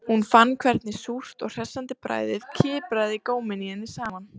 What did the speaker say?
Hún fann hvernig súrt og hressandi bragðið kipraði góminn í henni saman